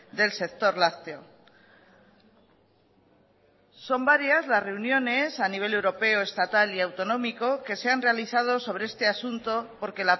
del sector lácteo son varias las reuniones a nivel europeo estatal y autonómico que se han realizado sobre este asunto porque